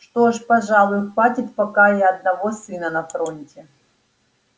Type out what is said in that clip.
что ж пожалуй хватит пока и одного сына на фронте